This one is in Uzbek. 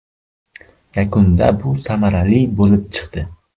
Yakunda bu samarali bo‘lib chiqdi.